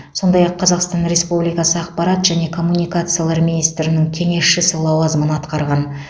сондай ақ қазақстан республикасы ақпарат және коммуникациялар министрінің кеңесшісі лауазымын атқарған